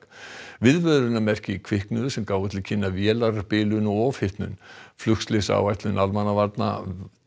viðvörunarmerki kviknuðu sem gáfu til kynna vélarbilun og ofhitnun almannavarnadeildar